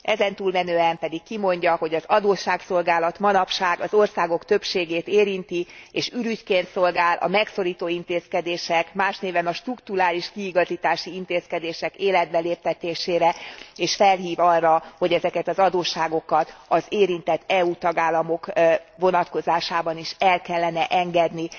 Ezen túlmenően pedig kimondja, hogy az adósságszolgálat manapság az országok többségét érinti, és ürügyként szolgál a megszorító intézkedések, más néven a strukturális kiigazítási intézkedések életbeléptetésére, és felhív arra, hogy ezeket az adósságokat az érintett EU tagállamok vonatkozásában is el kellene engedni.